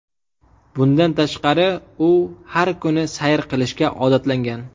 Bundan tashqari, u har kuni sayr qilishga odatlangan.